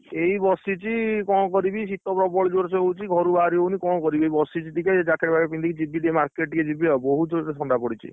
ଏଇ ବସିଛି କଣ କରିବି ଶୀତ ପ୍ରବଳ ଜୋର୍ ସେ ହଉଛି ଘରୁ ବାହାରି ହଉନି କଣ କରିବି ଏଇ ବସିଛି ଟିକେ jacket ଫାକେଟ୍ ପିନ୍ଧିକି ଯିବି ଟିକେ market ଟିକେ ଜୀବି ଆଉ ବହୁତ ଜୋରେ ଥଣ୍ଡା ପଡିଛି।